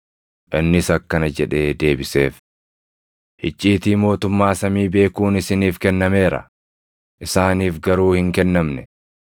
Innis akkana jedhee deebiseef; “Icciitii mootummaa samii beekuun isiniif kennameera; isaaniif garuu hin kennamne.